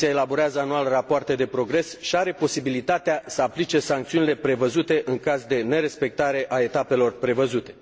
Comisia elaborează anual rapoarte de progres și are posibilitatea să aplice sancțiunile prevăzute, în caz de nerespectare a etapelor prevăzute.